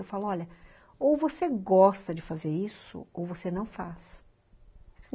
Eu falo, olha, ou você gosta de fazer isso ou você não faz.